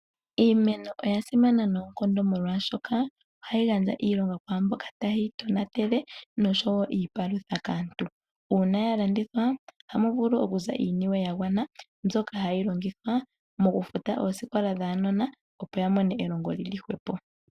Iimeno oya simana noonkondo molwaashoka ohayi gandja iilonga kwaamboka taye yi tonatele nosho woo iipalutha kaantu. Uuna ya landithwa ohamu vulu oku za iiyemo yagwana mbyoka hayi longithwa oku futa oosikola dhuunona opo wumone elongo lili hwepo.